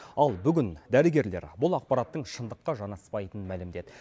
ал бүгін дәрігерлер бұл ақпараттың шындыққа жанаспайтынын мәлімдеді